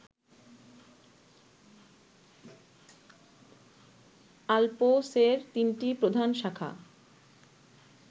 আল্পসের তিনটি প্রধান শাখা